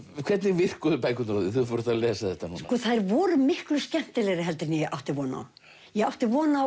hvernig virkuðu bækurnar á þig þegar þú ert að lesa þetta núna þær voru miklu skemmtilegri heldur en ég átti von á ég átti von á